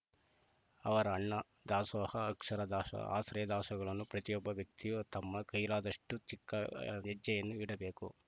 ಅವರ ಅನ್ನ ದಾಸೋಹ ಅಕ್ಷರ ದಾಸೋಹ ಆಶ್ರಯ ದಾಸೋಹಗಳನ್ನು ಪ್ರತಿಯೊಬ್ಬ ವ್ಯಕ್ತಿಯೂ ತಮ್ಮ ಕೈಲಾದಷ್ಟುಚಿಕ್ಕ ಹೆಜ್ಜೆಯನ್ನು ಇಡಬೇಕು